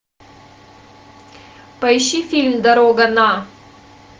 поищи фильм дорога на